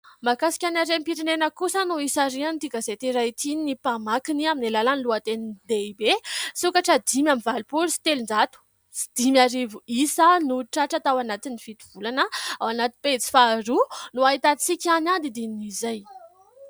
Mahakasika ny harem-pirenena kosa no hisarihan'ity gazety iray ity ny mpamakiny, amin'ny alalan'ny loha teny lehibe :« Sokatra dimy amby valopolo sy telonjato sy dimy arivo isa no tratra tao anatin'ny fito volana. ». Ao anaty pejy faharoa no ahitantsika ny andinindinin'izay.